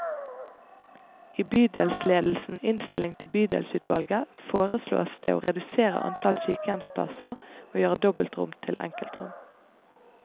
I bydelsledelsens innstilling til bydelsutvalget foreslås det å redusere antall sykehjemsplasser og gjøre dobbeltrom til enkeltrom.